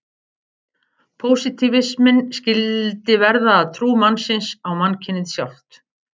Pósitífisminn skyldi verða að trú mannsins á mannkynið sjálft.